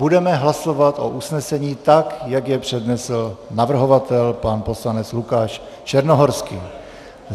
Budeme hlasovat o usnesení, tak jak je přednesl navrhovatel pan poslanec Lukáš Černohorský.